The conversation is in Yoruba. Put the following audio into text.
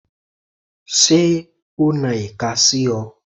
Ṣé o na ìka sí ọ?